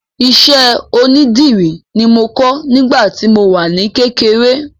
Iṣẹ́ onídìrí ni mo kọ́ nígbà tí mo wà ní kékeré